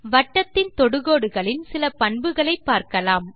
வட்டத்தின் தொடுகோடுகளின் சில பண்புகளை பார்க்கலாம்